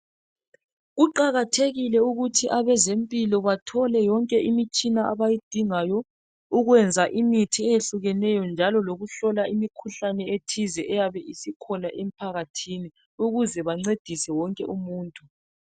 Kuqakathekile ukuthi abezempilo bathole yonke imitshina abayidingayo, ukwenza imithi eyehlukeneyo njalo lokuhlola imikhuhlane ethize eyabe isikhona emphakathini, ukuze bancedise wonke umuntu.